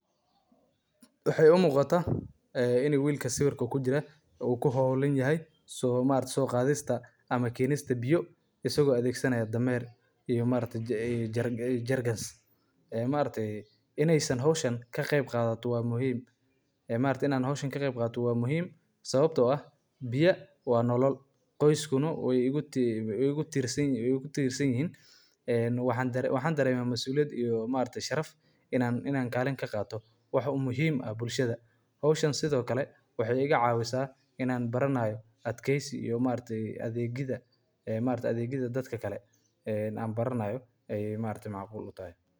Muddo dheer waxay isticmaali jireen dameeraha si ay ugu qaadaan biyaha meelaha fogfog, gaar ahaan deegaanada baadiyaha ah ee ay biyaha ku adkaato in si fudud looga helo, sida geedaha weyn ama ceelasha dheer; dameeruhu waxay ahaayeen xayawaanno awood badan oo ku habboon in ay qaadaan dheriyo waaweyn oo biyo ah, iyagoo sahaminaya dhulka qallalan iyo meelo aan wadooyin fiican lahay.